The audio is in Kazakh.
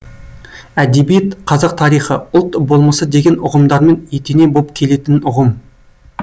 әдебиет қазақ тарихы ұлт болмысы деген ұғымдармен етене боп келетін ұғым